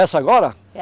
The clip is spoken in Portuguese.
Essa agora?